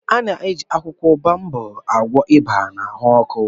A na-eji akwụkwọ baobab agwọ ịba na ahụ ọkụ